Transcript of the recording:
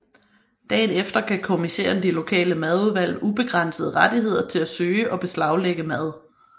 Dagen efter gav kommissæren de lokale madudvalg ubegrænsede rettigheder til at søge og beslaglægge mad